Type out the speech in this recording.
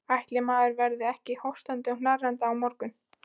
Ætli maður verði ekki hóstandi og hnerrandi á morgun.